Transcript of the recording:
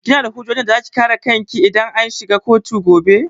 Kina da hujjojin da zaki kare kanki dashi idan an shiga kotu gobe?